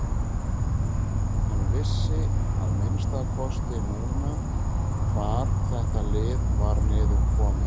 Hann vissi að minnsta kosti núna hvar þetta lið var niðurkomið.